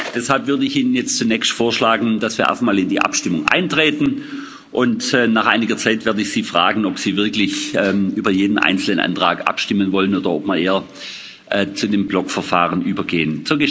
Deshalb würde ich Ihnen jetzt zunächst vorschlagen, dass wir erst einmal in die Abstimmung eintreten, und nach einiger Zeit werde ich Sie fragen, ob Sie wirklich über jeden einzelnen Antrag abstimmen wollen oder ob wir eher zu dem Blockverfahren übergehen.